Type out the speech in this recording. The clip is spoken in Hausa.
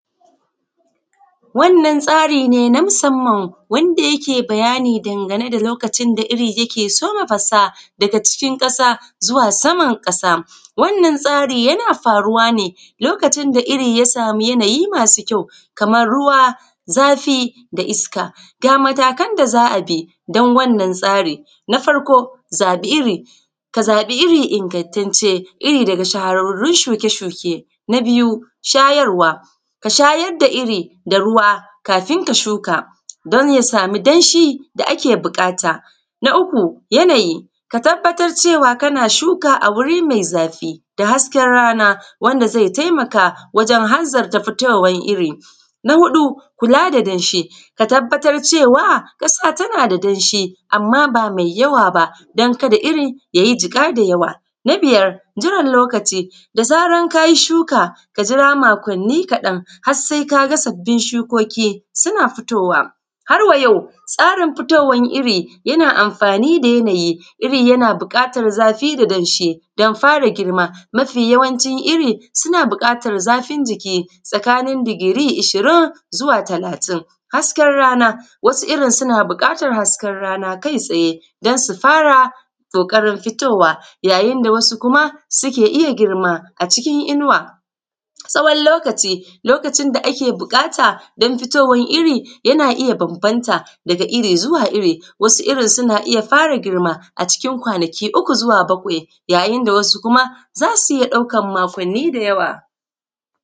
Wannan tsari ne na musamman wanda yake bayani dangane da lokacin da iri yake soma fasa daga cikin ƙasa zuwa saman ƙasa. Wannan tsari yana faruwa ne lokacin da iri ya samu yanayi masu kyau, kaman ruwa, zafi, da iska. Ga matakan da za a bi don wannan tsari: Na farko zaɓi iri, ka zaɓi iri ingantacce, iri daga shahararun shuke-shuke. Na biyu shayarwa, ka shayar da iri da ruwa kafin ka shuka, don ya samu danshi da ake buƙata. Na uku yanayi, ka tabbatar cewa kana shuka a wuri mai zafi da hasken rana, wanda zai taimaka wajen hanzar fitowan iri. Na huɗu kula da danshi, ka tabbatar cewa ƙasa tana da danshi, amma ba mai yawa ba don kada iri yayi jiƙa da waya. Na biyar jiran lokaci, da zaran kayi shuka kajira makonni kaɗan har sai kaga sabin shukoki suna fitowa. Har wayau tsarin fitowan iri yana amfani da yanayi. Iri yana buƙatan zafi, da danshi, don fara girma, mafi yawancin iri suna buƙatan zafin jiki, tsakanin digiri ishirin zuwa talatin. Hasken rana, wasu irin suna buƙatan hasken rana kai tsaye, don su fara ƙoƙarin fitowa yayin da wasu kuma suke iya girma a cikin inuwa. Tsawon lokaci, lokacin da ake buƙata don fitowan iri yana iya bambamta daga iri zuwa iri, wasu irin suna iya fara girma a cikin kwanaki uku zuwa bakwai, yayın da wasu kuma za su iya ɗaukan makonni da yawa. s